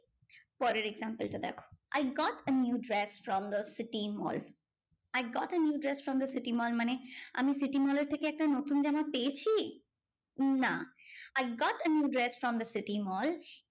পরের example টা দেখো I got a new dress from the city mall. I got a new dress from the city mall. মানে আমি city mall এর থেকে একটা নতুন জামা পেয়েছি না I got a new dress from the city mall.